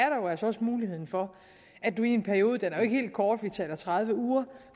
jo altså også muligheden for at man i en periode den er jo ikke helt kort vi taler tredive uger